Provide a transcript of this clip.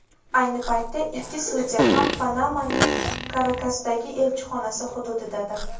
Ayni paytda ikki sudya ham Panamaning Karakasdagi elchixonasi hududidadir.